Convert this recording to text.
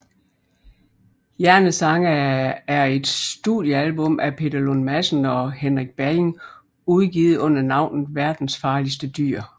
Hjernesange er et studiealbum af Peter Lund Madsen og Henrik Balling udgivet under navnet Verdens Farligste Dyr